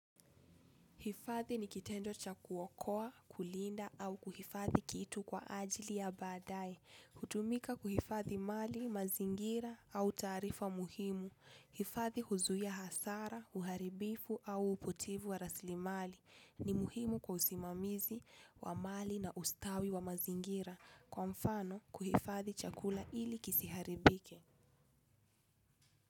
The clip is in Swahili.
Hifadhi ni kitendo cha kuokoa, kulinda au kuhifadhi kitu kwa ajili ya baadaye. Hutumika kuhifadhi mali, mazingira au taarifa muhimu. Hifadhi huzuia hasara, uharibifu au upotevu wa rasilimali ni muhimu kwa usimamizi wa mali na ustawi wa mazingira. Kwa mfano kuhifadhi chakula ili kisiharibike.